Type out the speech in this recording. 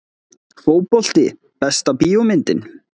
Fótbolti Besta bíómyndin?